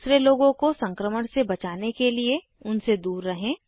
दूसरे लोगों को संक्रमण से बचाने के लिए उनसे दूर रहें